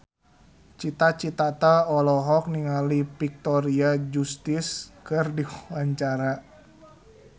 Cita Citata olohok ningali Victoria Justice keur diwawancara